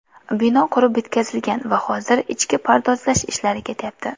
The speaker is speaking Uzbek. Bino qurib bitkazilgan va hozir ichki pardozlash ishlari ketyapti.